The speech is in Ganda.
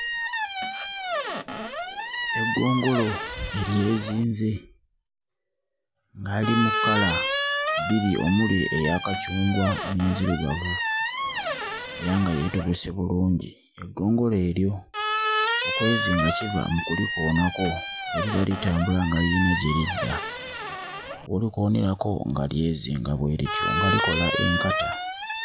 Eggongolo eryezinze ng'ali mu kkala bbiri omuli eya kacungwa n'enzirugavu era nga yeetobese bulungi. Eggongolo eryo okwezinga kiva mu kulikoonako bwe liba litambula nga liyina gye lidda w'olikoonerako nga lyezinga bwe lityo nga likola enkata.